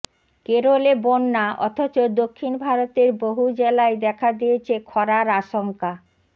কেরলে বন্যা অথচ দক্ষিণ ভারতের বহু জেলায় দেখা দিয়েছে খরার আশঙ্কা